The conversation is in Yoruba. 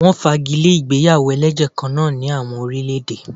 Wọ́n fagi lé ìgbéyàwó ẹlẹ́jẹ̀ kan náà ní àwọn orílè-èdè.